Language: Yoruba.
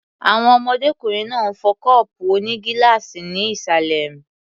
Àwọn ọmọdékùnrin náà ń fọ́ kọ́ọ̀pù onígíláàsì ní ìsàlẹ̀ m